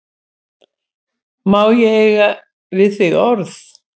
Má ég eiga við þig orð?